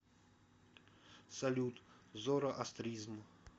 салют зороастризм